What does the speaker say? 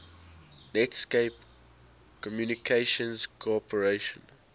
netscape communications corporation